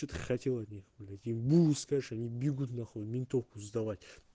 что-то хотела от них блять им бу скажешь они бегут нахуй в ментовку сдавать